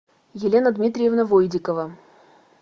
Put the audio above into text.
елена дмитриевна войдикова